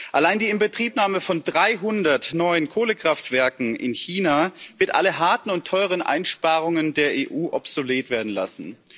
Allein die Inbetriebnahme von 300 neuen Kohlekraftwerken in China wird alle harten und teuren Einsparungen der EU obsolet werden lassen.